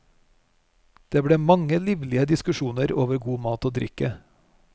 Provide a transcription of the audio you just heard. Det ble mange livlige diskusjoner over god mat og drikke.